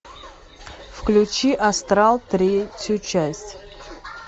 включи астрал третью часть